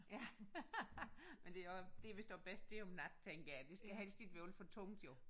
Ja men det også det er vist også der er om natten tænker jeg det skal helst ikke være alt for tungt jo